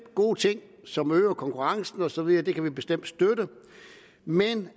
gode ting som øger konkurrencen og så videre det kan vi bestemt støtte men